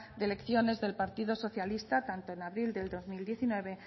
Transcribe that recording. de elecciones del partido socialista tanto en abril del dos mil diecinueve